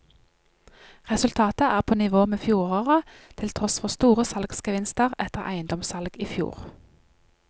Resultatet er på nivå med fjoråret, til tross for store salgsgevinster etter eiendomssalg i fjor.